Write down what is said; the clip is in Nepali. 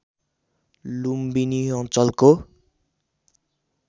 लुम्बिनी अञ्चलको